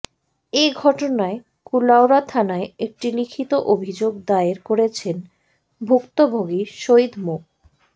এ ঘটনায় কুলাউড়া থানায় একটি লিখিত অভিযোগ দায়ের করেছেন ভুক্তভোগী সৈয়দ মো